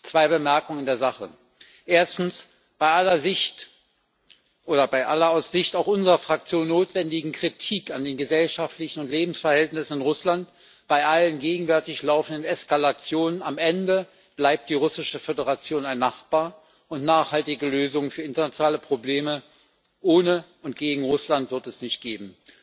Zwei Bemerkungen in der Sache Erstens Bei aller aus Sicht auch unserer Fraktion notwendigen Kritik an den gesellschaftlichen und Lebensverhältnissen in Russland, bei allen gegenwärtig laufenden Eskalationen am Ende bleibt die Russische Föderation ein Nachbar, und nachhaltige Lösungen für internationale Probleme ohne und gegen Russland wird es nicht geben.